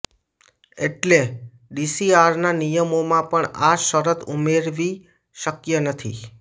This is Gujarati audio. એટલે ડીસીઆરના નિયમોમાં પણ આ શરત ઉમેરવી શક્ય નથી